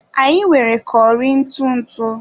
Anyị nwere curry ntụ ntụ